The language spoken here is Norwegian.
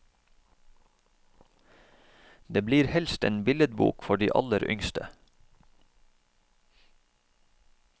Det blir helst en billedbok for de aller yngste.